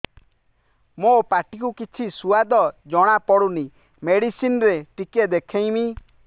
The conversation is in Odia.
ମୋ ପାଟି କୁ କିଛି ସୁଆଦ ଜଣାପଡ଼ୁନି ମେଡିସିନ ରେ ଟିକେ ଦେଖେଇମି